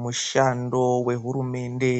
Mushando wehurumende